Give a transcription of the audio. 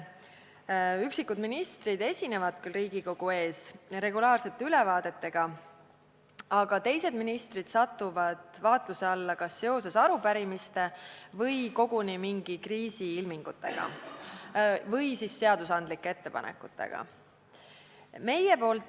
Üksikud ministrid esinevad küll Riigikogu ees regulaarsete ülevaadetega, teised ministrid aga satuvad vaatluse alla kas seoses arupärimiste või koguni kriisiilmingutega, vahel ka seadusandlike ettepanekutega.